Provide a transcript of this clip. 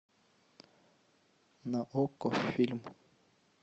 на окко фильм